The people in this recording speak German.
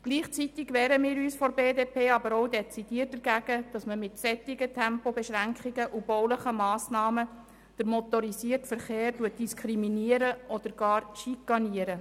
Gleichzeitig wehren wir uns von der BDP aber auch dezidiert dagegen, dass man mit solchen Tempobeschränkungen und baulichen Massnahmen den motorisierten Verkehr diskriminiert oder gar schikaniert.